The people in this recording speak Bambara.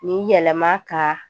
Nin yɛlɛma ka